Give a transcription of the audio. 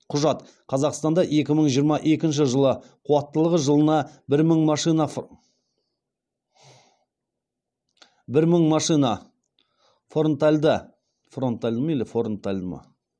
құжат қазақстанда екі мың жиырма екінші жылы қуаттылығы жылына